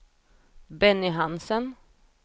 Benny Hansen